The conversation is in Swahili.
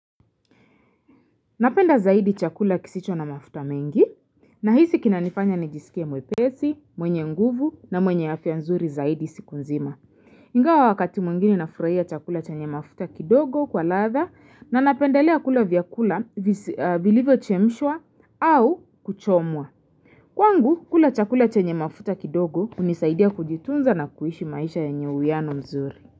Napenda zaidi chakula kisicho na mafuta mengi, na hisi kina nifanya nijisikie mwepesi, mwenye nguvu na mwenye afya nzuri zaidi siku nzima. Ingawa wakati mwingine nafuraia chakula chenye mafuta kidogo kwa ladha na napenda lea kula vyakula vilivyo chemshwa au kuchomwa. Kwangu, kula chakula chenye mafuta kidogo unisaidia kujitunza na kuishi maisha yenye uwiano mzuri.